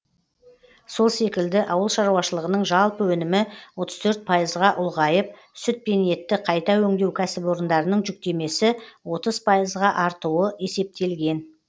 сол секілді ауыл шаруашылығының жалпы өнімі отыз төрт пайызға ұлғайып сүт пен етті қайта өңдеу кәсіпорындарының жүктемесі отыз пайызға артуы есептелген